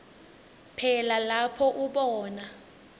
phela lapho ubona